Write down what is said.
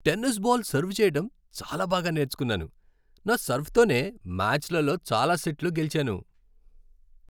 Tennis ball serve చెయ్యటం చాలా బాగా నేర్చుకున్నాను. నా సర్వ్తోనే మ్యాచ్లలో చాలా సెట్లు గెలిచాను.